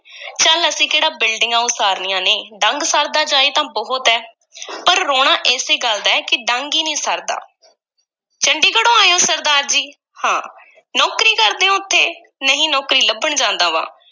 ਚੱਲ, ਅਸੀਂ ਕਿਹੜਾ ਬਿਲਡਿੰਗਾਂ ਉਸਾਰਨੀਆਂ ਨੇ, ਡੰਗ ਸਰਦਾ ਜਾਏ ਤਾਂ ਬਹੁਤ ਐ ਪਰ ਰੋਣਾ ਏਸੇ ਗੱਲ ਦਾ ਹੈ ਕਿ ਡੰਗ ਹੀ ਨ੍ਹੀਂ ਸਰਦਾ ਚੰਡੀਗੜ੍ਹੋਂ ਆਏ ਹੋ ਸਰਦਾਰ ਜੀ, ਹਾਂ, ਨੌਕਰੀ ਕਰਦੇ ਹੋ ਓਥੇ? ਨਹੀਂ, ਨੌਕਰੀ ਲੱਭਣ ਜਾਂਦਾ ਵਾਂ।